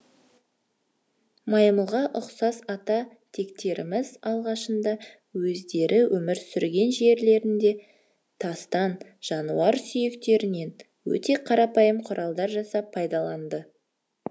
маймылға ұқсас ата тектеріміз алғашында өздері өмір сүрген жерлерінде тастан жануар сүйектерінен өте қарапайым құралдар жасап пайдаланды